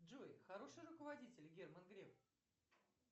джой хороший руководитель герман греф